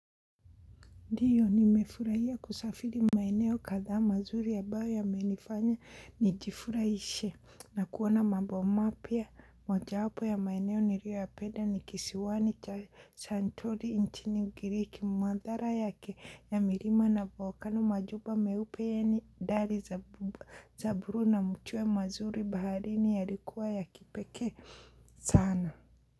Ndiyo nimefurahia kusafiri maeneo kadha mazuri ambayo ya menifanya nijifurahishe na kuona mambo mapya moja wapo ya maeneo nirio ya penda ni kisiwani cha santorini nchi ugiriki mandhara yake ya mirima na na volcano majuba meupe ya ni dhali za buru na mchue mazuri baharini ya likuwa ya kipekee sana.